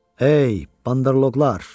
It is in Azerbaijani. Hey, bandarloqlar!